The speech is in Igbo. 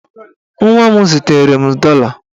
Nwa m zitere m dọla.